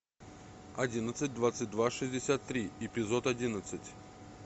одиннадцать двадцать два шестьдесят три эпизод одиннадцать